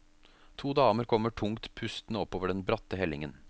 To damer kommer tungt pustende oppover den bratte hellingen.